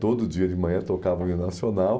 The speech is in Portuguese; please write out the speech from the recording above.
Todo dia de manhã tocava o Hino Nacional.